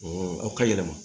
aw ka yɛlɛma